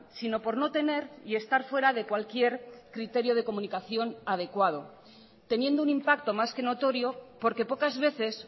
sino por no tener y estar fuera de cualquier criterio de comunicación adecuado teniendo un impacto más que notorio porque pocas veces